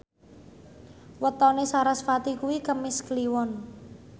wetone sarasvati kuwi Kemis Kliwon